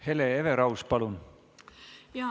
Hele Everaus, palun!